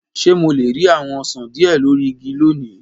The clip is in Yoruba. Ṣe Mo le ri awọn osan diẹ lori igi loni?